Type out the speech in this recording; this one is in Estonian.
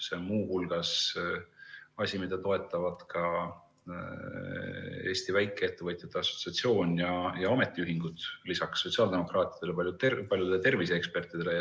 See on muu hulgas see asi, mida toetavad lisaks sotsiaaldemokraatidele ja terviseekspertidele ka Eesti Väikeettevõtjate Assotsiatsioon ja ametiühingud.